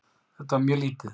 Þetta var mjög lítið.